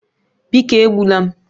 Biko egbula m